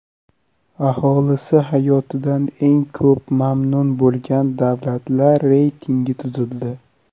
Aholisi hayotidan eng ko‘p mamnun bo‘lgan davlatlar reytingi tuzildi.